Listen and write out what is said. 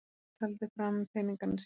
Örn taldi fram peningana sína.